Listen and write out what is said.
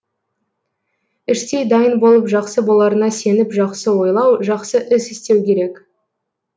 іштей дайын болып жақсы боларына сеніп жақсы ойлау жақсы іс істеу керек